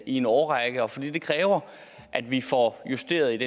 en årrække og fordi det kræver at vi får justeret